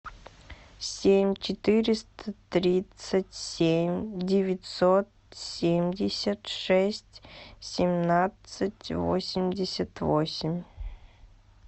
семь четыреста тридцать семь девятьсот семьдесят шесть семнадцать восемьдесят восемь